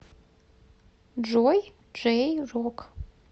джой джей рок